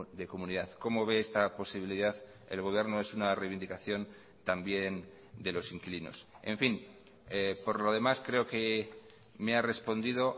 de comunidad como ve esta posibilidad el gobierno es una reivindicación también de los inquilinos en fin por lo demás creo que me ha respondido